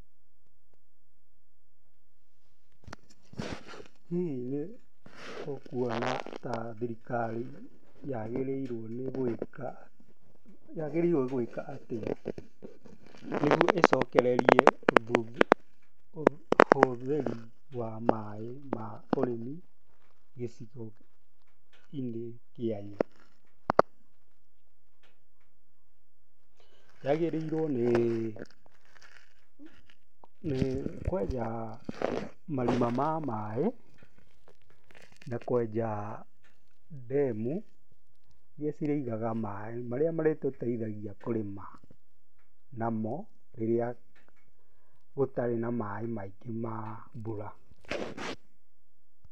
Pauses and read the question first